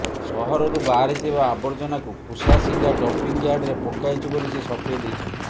ସହରରୁ ବାହାରିଥିବା ଆବର୍ଜନାକୁ କୁଶାସିଂହା ଡମ୍ପିଂୟାର୍ଡରେ ପକାଇଛୁ ବୋଲି ସେ ସଫେଇ ଦେଇଛନ୍ତି